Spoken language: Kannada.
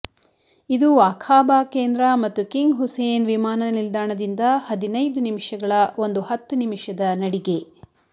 ಇದು ಅಖಾಬಾ ಕೇಂದ್ರ ಮತ್ತು ಕಿಂಗ್ ಹುಸೇನ್ ವಿಮಾನ ನಿಲ್ದಾಣದಿಂದ ಹದಿನೈದು ನಿಮಿಷಗಳ ಒಂದು ಹತ್ತು ನಿಮಿಷದ ನಡಿಗೆ